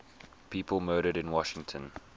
people murdered in washington